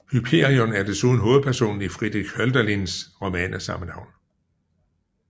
Hyperion er desuden hovedpersonen i Friedrich Hölderlins roman af samme navn